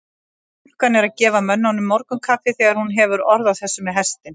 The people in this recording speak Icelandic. Stúlkan er að gefa mönnunum morgunkaffið þegar hún hefur orð á þessu með hestinn.